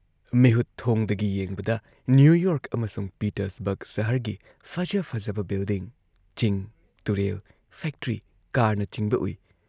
ꯃꯤꯍꯨꯠꯊꯣꯡꯗꯒꯤ ꯌꯦꯡꯕꯗ New York ꯑꯃꯁꯨꯡ Pittsburgh ꯁꯍꯔꯒꯤ ꯐꯖ ꯐꯖꯕ ꯕꯤꯜꯗꯤꯡ, ꯆꯤꯡ ꯇꯨꯔꯦꯜ ꯐꯦꯛꯇ꯭ꯔꯤ, ꯀꯥꯔꯅꯆꯤꯡꯕ ꯎꯏ ꯫